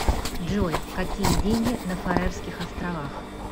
джой какие деньги на фарерских островах